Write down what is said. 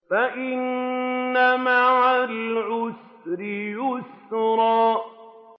فَإِنَّ مَعَ الْعُسْرِ يُسْرًا